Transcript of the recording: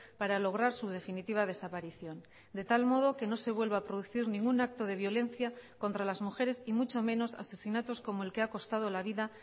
para lograr su definitiva desaparición de tal modo que no se vuelva a producir ningún acto de violencia contra las mujeres y mucho menos asesinatos como el que ha costado la vida